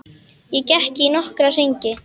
Ég gekk í nokkra hringi.